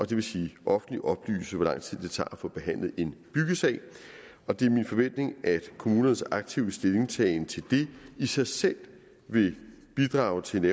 det vil sige offentligt oplyse hvor lang tid det tager at få behandlet en byggesag det er min forventning at kommunernes aktive stillingtagen til det i sig selv vil bidrage til